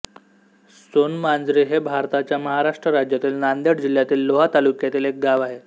सोनमांजरी हे भारताच्या महाराष्ट्र राज्यातील नांदेड जिल्ह्यातील लोहा तालुक्यातील एक गाव आहे